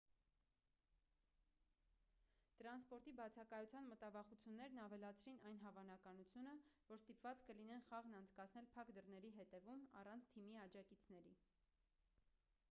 տրանսպորտի բացակայության մտավախություններն ավելացրին այն հավանականությունը որ ստիպված կլինեն խաղն անցկացնել փակ դռների հետևում առանց թիմի աջակիցների